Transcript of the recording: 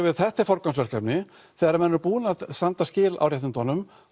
þetta er forgangsverkefni þegar menn eru búnir að standa skil á réttindunum